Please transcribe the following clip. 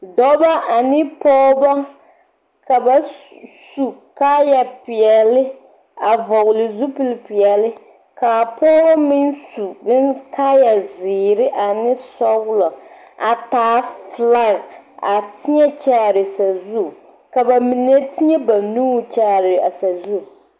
Dɔbɔ ane pɔɔbɔ ka ba su kaayapeɛli a vɔgli zupilpeɛli kaa pɔɔbɔ meŋ su bonkalɛɛs zeere ane sɔglɔ a taa filag a teɛ kyaare sazu ka ba mine teɛ a ba nuuri kyaare a sazu.